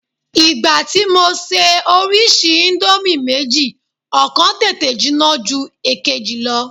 Ìgbà tí mo ṣe orísìí íńdómì méjì, ọ̀kan tètè jinná ju èkejì lọ.